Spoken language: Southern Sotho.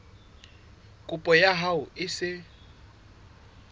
kopo ya hao e se